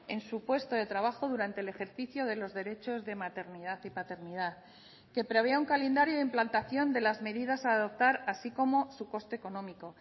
en su puesto de trabajo durante el ejercicio de los derechos de maternidad y paternidad que prevea un calendario de implantación de las medidas a adoptar así como su coste económico